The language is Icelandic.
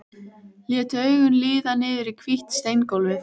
Lét augun líða niður í hvítt steingólfið.